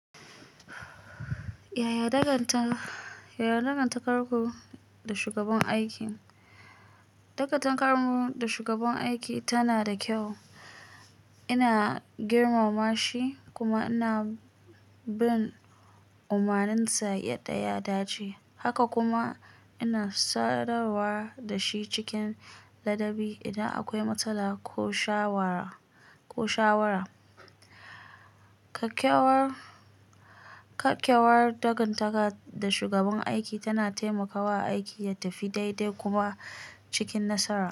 Yaya dangantakar ku da shugaban aiki? Dangantakar mu da shugaban aiki tana da kyau. Ina girmama shi kuma ina bin umarninsa yadda ya dace, haka kuma ina sadarwa da shi cikin ladabi idan akwai matsala ko shawara. Kyakkyawar dangantaka da shugaban aiki tana taimakawa aiki ya tafi daidai kuma cikin nasara.